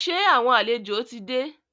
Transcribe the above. Sẹ́ àwọn àlejò ti dé?